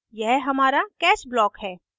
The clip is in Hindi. यह हमारा catch block है